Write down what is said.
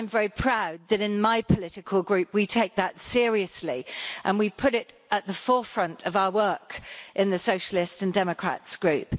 I am very proud that in my political group we take that seriously and we put it at the forefront of our work in the Socialists and Democrats Group.